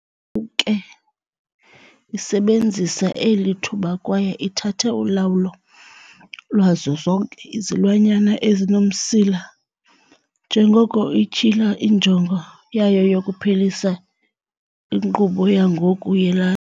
ke isebenzisa eli thuba kwaye ithathe ulawulo lwazo zonke izilwanyana ezinomsila, njengoko ityhila injongo yayo yokuphelisa inkqubo yangoku yelali.